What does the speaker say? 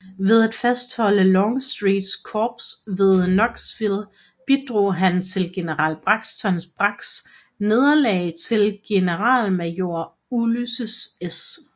Ved at fastholde Longstreets korps ved Knoxville bidrog han til general Braxton Braggs nederlag til generalmajor Ulysses S